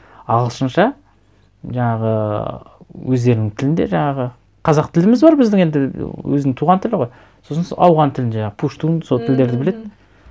ағылшынша жаңағы өздерінің тілінде жаңағы қазақ тіліміз бар біздің енді өзінің туған тілі ғой сосын сол ауған тілінде пуштун сол тілдерді біледі